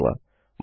वहाँ पर मिलते हैं